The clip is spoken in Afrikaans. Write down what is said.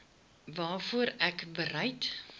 waarvoor ek bereid